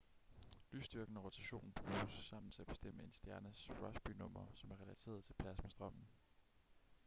lysstyrken og rotationen bruges sammen til at bestemme en stjernes rossby number som er relateret til plasmastrømmen